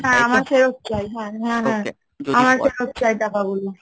হ্যাঁ আমার ফেরত চাই, হ্যাঁ হ্যাঁ , আমার ফেরত চাই টাকাগুলো